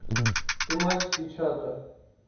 тематики чата